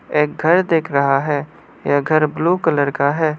एक घर दिख रहा है यह घर ब्लू कलर का है।